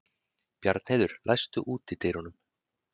Bjarnheiður, læstu útidyrunum.